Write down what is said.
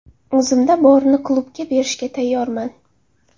O‘zimda borini klubga berishga tayyorman.